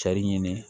Cari ɲini